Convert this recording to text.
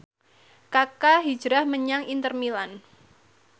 Kaka hijrah menyang Inter Milan